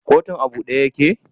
Kotun a bude yake?